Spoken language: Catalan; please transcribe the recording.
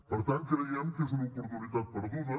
per tant creiem que és una oportunitat perduda